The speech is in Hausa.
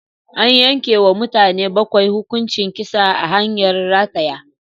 An yanke wa mutane bakwai hukuncin kisa ta hanyar rataya